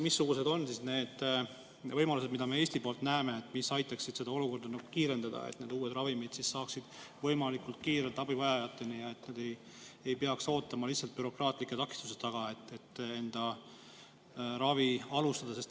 Missugused on need võimalused, mida me Eesti poolt näeme, mis aitaksid seda kiirendada, et need uued ravimid võimalikult kiirelt abivajajateni ja nad ei peaks lihtsalt bürokraatlike takistuste tõttu ootama, et enda ravi alustada?